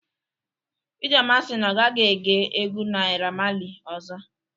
Ijeoma si na ọ gaghị ege egwu Naira Marlị ọzọ